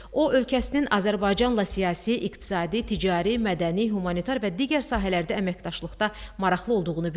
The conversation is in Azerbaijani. O ölkəsinin Azərbaycanla siyasi, iqtisadi, ticari, mədəni, humanitar və digər sahələrdə əməkdaşlıqda maraqlı olduğunu bildirdi.